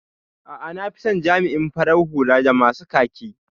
A'a, nafison jami'in farar hula da masu kaki.